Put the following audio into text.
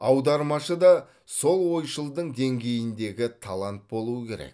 аудармашы да сол ойшылдың деңгейіндегі талант болуы керек